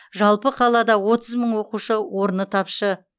жалпы қалада отыз мың оқушы орны тапшы